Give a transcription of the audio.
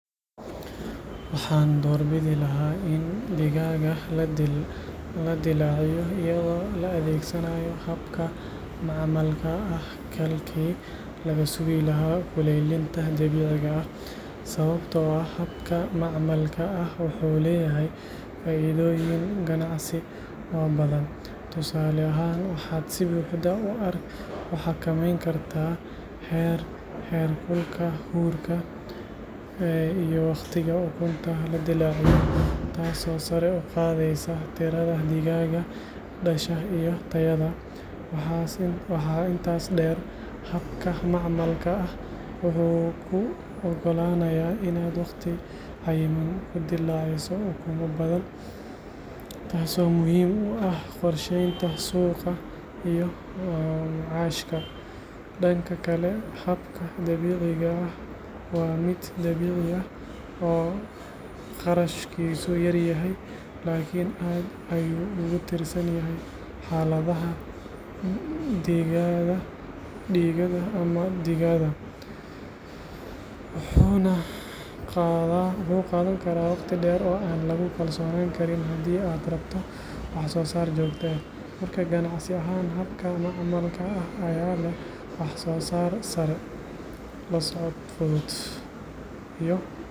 Waxaan doorbidi lahaa in digaagga la dillaaciyo iyadoo la adeegsanayo habka macmalka ah halkii laga sugi lahaa kulaylinta dabiiciga ah, sababtoo ah habka macmalka ah wuxuu leeyahay faa’iidooyin ganacsi oo badan. Tusaale ahaan, waxaad si buuxda u xakameyn kartaa heerkulka, huurka, iyo wakhtiga ukunta la dillaacayo taasoo sare u qaadaysa tirada digaagga dhasha iyo tayada. Waxaa intaas dheer, habka macmalka ah wuxuu kuu oggolaanayaa inaad waqti cayiman ku dillaaciso ukumo badan, taasoo muhiim u ah qorsheynta suuqa iyo macaashka. Dhanka kale, habka dabiiciga ah waa mid dabiici ah oo kharashkiisu yar yahay, laakiin aad ayuu ugu tiirsan yahay xaaladaha diiqada ama digada, wuxuuna qaadan karaa waqti dheer oo aan lagu kalsoonaan karin haddii aad rabto wax soo saar joogto ah. Marka, ganacsi ahaan, habka macmalka ah ayaa leh wax-soo-saar sare, la socod fudud.